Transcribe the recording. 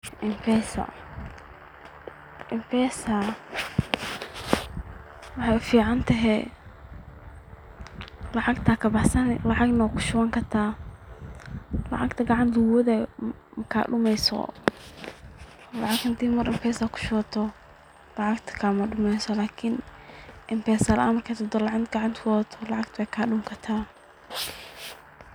mpesa mpesa waxaay u ficantahy lacgta ayaa ku shubani lacgna waxaa ka baxsani lacagta maar hadaa mpesa ku shubato kama dumayso lakin mpesa laan marka aa socoto lavagtana fgacnta at ku wadato lacagta weey ka dhumii kartaa.